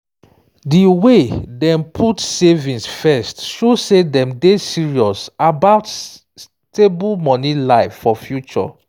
di way dem put savings first show say dem serious about stable money life for future